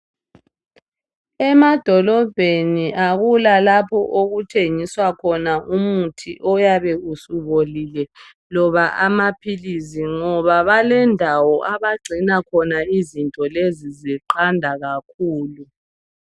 Emadolobheni akula lapho okuthengiswa khona umuthi eyabe usubolile loba amaphilisi ngoba balendawo abagcina khona izinto lezi ziqanda kakhulu.